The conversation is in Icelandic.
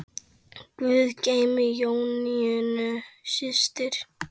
Guð geymi Jónínu systur.